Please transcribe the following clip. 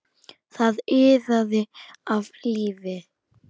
Það iðaði af lífi.